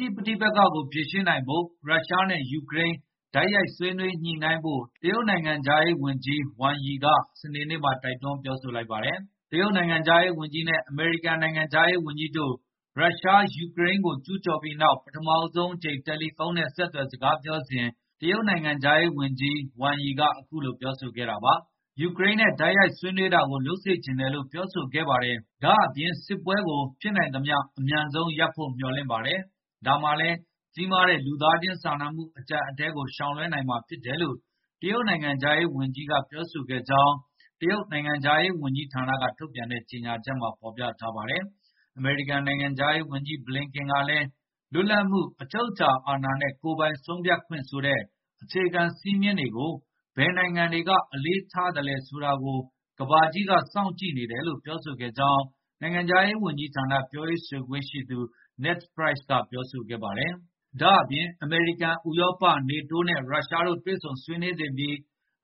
ရှိပဋိက္ခကို ဖြေရှင်းနိုင်ဖို့ ရုရှားနဲ့ ယူကရိန်း တိုက်ရိုက်ဆွေးနွေးညှိနှိုင်းဖို့ တရုတ်နိုင်ငံခြားရေးဝန်ကြီး Wang Yi က စနေနေ့မှာ တိုက်တွန်း ပြောဆိုလိုက်ပါတယ်။ တရုတ်နိုင်ငံခြားရေးဝန်ကြီးနဲ့ အမေရိကန် နိုင်ငံခြားရေးဝန်ကြီးတို့ ရုရှားက ယူကရိန်းကို ကျူးကျော်ပြီးနောက် ပထမဆုံးအကြိမ် တယ်လီဖုန်းနဲ့ ဆက်သွယ် စကားပြောစဉ် တရုတ်နိုင်ငံခြားရေးဝန်ကြီး Wang Yi က အခုလို ပြောဆိုခဲ့တာပါ။ ရုရှားနဲ့ ယူကရိန်း တိုက်ရိုက်ဆွေးနွေးတာကို လုပ်စေချင်တယ်လို့ ပြောဆိုခဲ့ပါတယ်။ ဒါ့အပြင် စစ်ပွဲကို ဖြစ်နိုင်သမျှ အမြန်ဆုံးရပ်ဖို့ မျှော်လင့်ပါတယ်။ ဒါမှလည်း ကြီးမားတဲ့ လူသားချင်းစာနာမှု အကျပ်အတည်းကို ရှောင်လွှဲနိုင်မှာဖြစ်တယ်လို့ တရုတ်နိုင်ငံခြားရေးဝန်ကြီးက ပြောဆိုခဲ့ကြောင်း တရုတ်နိုင်ငံခြားရေးဝန်ကြီးဌာနက ထုတ်ပြန်တဲ့ ကြေညာချက်မှာ ဖော်ပြထားပါတယ်။ အမေရိကန် နိုင်ငံခြားရေးဝန်ကြီး Blinken ကလည်း လွတ်လပ်မှု၊ အချုပ်အခြာအာဏာနဲ့ ကိုယ်ပိုင်ဆုံးဖြတ်ပိုင်ခွင့်ဆိုတဲ့ အခြေခံစည်းမျဉ်းတွေကို ဘယ်နိုင်ငံတွေက အလေးထားလဲ ဆိုတာကို ကမ္ဘာကြီးက စောင့်ကြည့်နေတယ်လို့ ပြောဆိုခဲ့ကြောင်း နိုင်ငံခြားရေးဝန်ကြီးဌာန ပြောရေးဆိုခွင့်ရှိသူ Ned Price က ပြောဆိုခဲ့ပါတယ်။ ဒါ့အပြင် အမေရိကန်၊ ဥရောပ၊ NATO နဲ့ ရုရှားတို့ တွေ့ဆုံဆွေးနွေးသင့်ပြီး